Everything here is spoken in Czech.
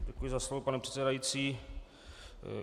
Děkuji za slovo, pane předsedající.